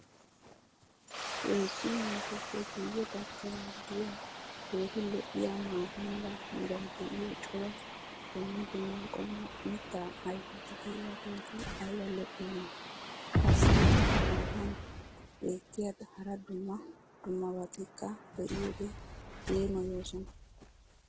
heezzu naatuppe guye bagaara diya keehi lo'iyaa maata mala meray diyo cora dumma dumma qommo mitaa ayfeti diyaageti ayba lo'iyoonaa? qassi eta matan beetiya hara dumma dummabatikka be'iyoode yeemmoyoosona.